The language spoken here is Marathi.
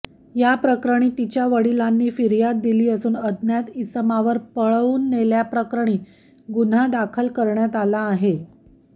याप्रकरणी तिच्या वडिलांनी फिर्याद दिली असून अज्ञात इसमावर पळवून नेल्याप्रकरणी गुन्हा दाखल करण्यात आला आहे